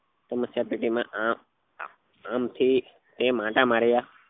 સમસ્યા પેટી માં આમ આમ આમથી તેમ આંટા માર્યા